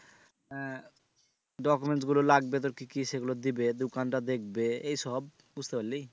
আহ documents গুলো লাগবে তোর কি কি সেগুলো দিবে দুকানটা দেখবে এইসব বুঝতে পারলি?